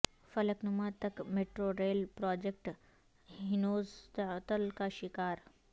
فلک نما تک metro rail project ہنوز تعطل کا شکار